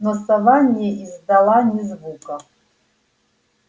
но сова не издала ни звука